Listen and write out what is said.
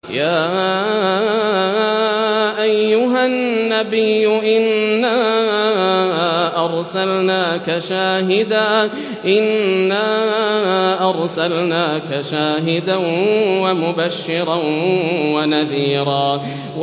يَا أَيُّهَا النَّبِيُّ إِنَّا أَرْسَلْنَاكَ شَاهِدًا وَمُبَشِّرًا وَنَذِيرًا